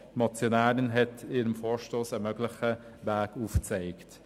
Die Motionäre haben in ihrem Vorstoss einen möglichen Weg aufgezeigt.